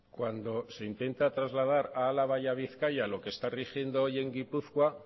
cuando se intenta trasladar a álava y a bizkaia lo que está rigiendo hoy en gipuzkoa